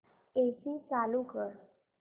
AC चालू कर